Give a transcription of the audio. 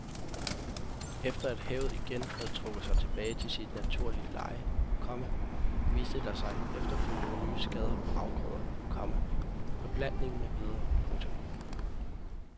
Efter at havet igen havde trukket sig tilbage til sit naturlige leje, komma viste der sig efterfølgende nye skader på afgrøder, komma beplantning med videre. punktum